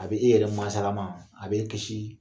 A bɛ e yɛrɛ mansa lama, a b'e kisii